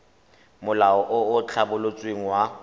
molao o o tlhabolotsweng wa